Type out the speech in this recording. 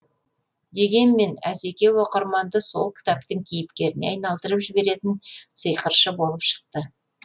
дегенмен әзеке оқырманды сол кітаптың кейіпкеріне айналдырып жіберетін сиқыршы болып шықты